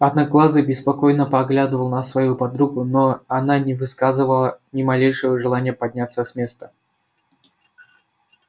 одноглазый беспокойно поглядывал на свою подругу но она не высказывала ни малейшего желания подняться с места